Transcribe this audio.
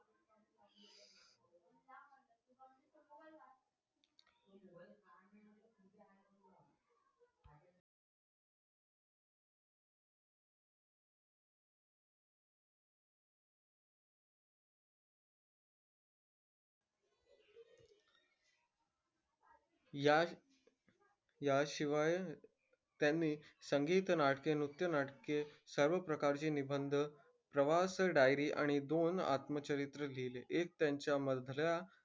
या याशिवाय त्यांनी संगीत-नाटके, नृत्य-नाटके सर्व प्रकारचे निबंध, प्रवास diary आणि दोन आत्मचरित्र लिहिले. एक त्यांच्या मधल्या,